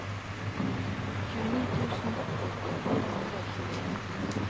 tjueni tusen fire hundre og tjueen